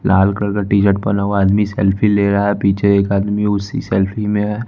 लाल colour का T shirt पहना हुआ आदमी सेल्फ़ी ले रहा है। पीछे एक आदमी उसी सेल्फ़ी में है।